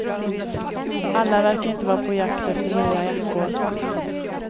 Alla verkar inte vara på jakt efter nya jackor.